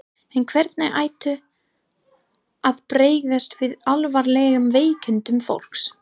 En hvernig ætti að bregðast við alvarlegum veikindum fólks?